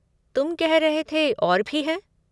तुम कह रह थे और भी हैं?